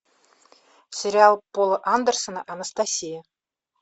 сериал пола андерсона анастасия